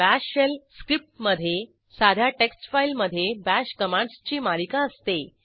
bash shell script मधे साध्या text file मधे बाश कमांडसची मालिका असते